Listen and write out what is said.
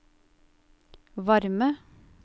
varme